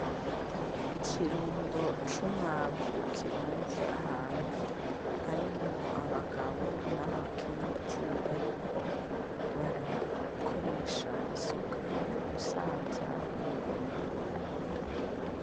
Ikirundo c'umwavu kirunze ahantu harimwo abagabo n'abakenyezi bariko barakoresha isuka mugusanza uyo mwavu.